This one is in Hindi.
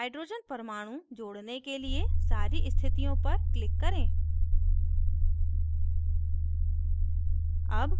hydrogen परमाणु जोड़ने के लिए सारी स्थितियों पर click करें